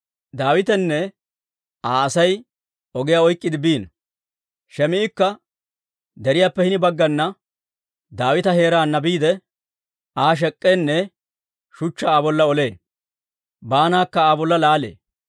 Daawitenne Aa Asay ogiyaa oyk'k'iide biino. Shim"ikka deriyaappe hini baggana, Daawita heeraana biidde Aa shek'k'eenne shuchchaa Aa bolla olee; baanakka Aa bolla laalee.